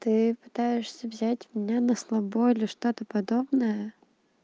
ты пытаешься взять меня на слабо или что-то подобное